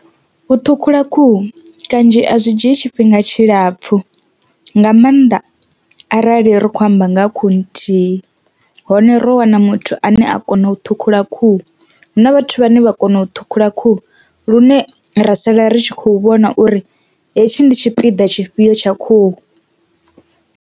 U ṱhukhula khuhu kanzhi a zwi dzhii tshifhinga tshilapfhu nga maanḓa arali ri kho amba nga ha khuhu nthihi hone ro wana muthu ane a kona u ṱhukhula khuhu, hu na vhathu vhane vha kona u thukhula khuhu lune ra sala ri tshi khou vhona uri hetshi ndi tshipiḓa tshifhio tsha khuhu.